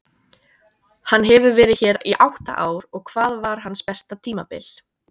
Hann hefur verið hér í átta ár og hvað var hans besta tímabil?